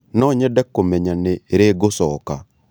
Nonyende kũmenya nĩ rĩ ngũcoka.